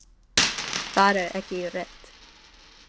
Það er ekki rétt